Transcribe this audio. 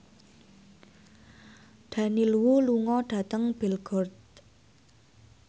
Daniel Wu lunga dhateng Belgorod